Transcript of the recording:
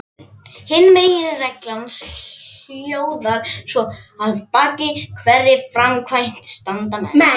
Hin meginreglan hljóðar svo: Að baki hverri framkvæmd standa menn.